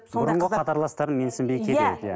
бұрынғы қатарластарын менсінбей кетеді иә